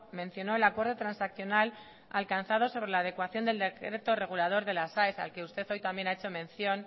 mencionó el acuerdo transaccional alcanzado sobre la adecuación del decreto regulador de las aes al que usted hoy también ha hecho mención